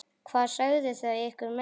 Hvað sögðu þau ykkur meira?